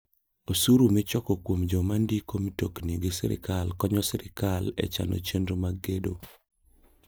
Osuru michoko kuom joma ndiko mtokni gi sirkal konyo sirkal e ching'ne chenro mag gedo.